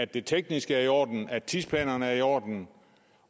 det tekniske er i orden og tidsplanerne er i orden